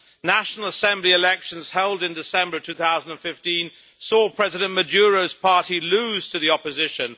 National Assembly elections held in December 2015 saw President Maduro's party lose to the opposition.